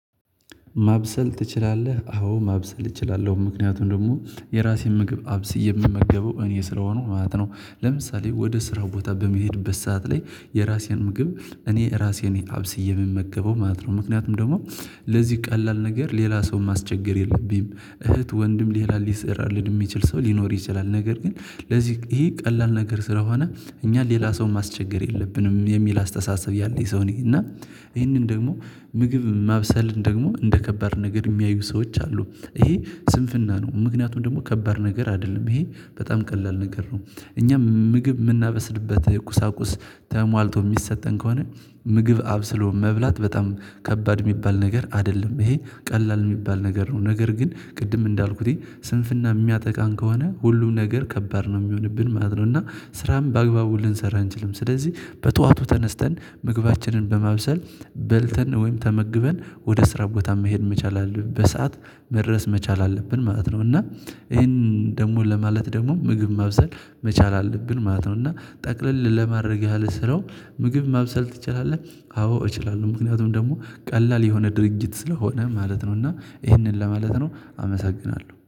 ማብሰል ትችላለህ? አዎ ማብሰል እችላለሁ ምክንያቱም ደግሞ የራሴን ምግብ አብስዬ የምመገበው እኔ ስለሆኩ ማለት ነው። ለምሳሌ ወደ ስራ ቦታ በመሄድበት ሰዓት ላይ የራሴን ምግብ እኔ ራሴ ነኝ አብስዬ የምመገበው ማለት ነው። ምክንያቱም ደግሞ ለዚህ ቀላል ነገር ሌላ ሰው ማስቸገር የለብኝም። እህት ወንድም ሌላ ሊሰራልን የሚችል ሰው ሊኖር ይችላል። ነገር ግን ለዚህ ይሄ ቀላል ነገር ስለሆነ እኛ ሌላ ሰው ማስቸገር የለብንም የሚል አስተሳሰብ ያለኝ ሰው ነኝ። እና ይሄንን ደግሞ ምግብ ማብሰልን ደግሞ እንደ ከባድ ነገር የሚያዩ ሰዎች አሉ። ይሄ ስንፍና ነው። ምክንያቱም ደግሞ ከባድ ነገር አይደለም ይሄ በጣም ቀላል ነገር ነው። እኛ ምግብ የምናበስልበት ቁሳቁስ ተሟልቶ የሚሰጠን ከሆነ ምግብ አብስሎ መብላት በጣም ከባድ የሚባል ነገር አይደለም ይሄ ቀላል የሚባል ነገር ነው። ነገር ግን ቅድም እንዳልኩትኝ ስንፍና የሚያጠቃን ከሆነ ሁሉም ነገር ከባድ ነው የሚሆንብን ማለት ነው። እና ስራም በአግባቡ ልንሰራ አንችልም። ስለዚህ በጧቱ ተነስተን ምግባችንን በማብሰል በልተን ወይም ተመግበን ወደ ስራ ቦታ መሄድ መቻል አለብን በሰአት መድረስ መቻል አለብን ማለት ነው። እና ይሄንን ደግሞ ለማለት ደግሞ ምግብ መብሰል መቻል አለብን ማለት ነው። እና ጠቅልል ለማድረግ ያህል ስራው ምግብ መብሰል ትችላለህ? አዎ እችላለሁ ምክንያቱም ደግሞ ቀላል የሆነ ድርጊት ስለሆነ ማለት ነው። እና ይህንን ለማለት ነው አመሰግናለሁ